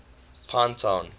pinetown